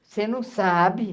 Você não sabe?